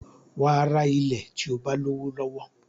Wàá ra ilẹ̀ tí o bá lówó lọ́wọ́